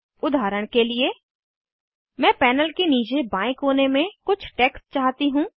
उदाहरण के लिए मैं पैनल के नीचे बाएं कोने में कुछ टेक्स्ट चाहती हूँ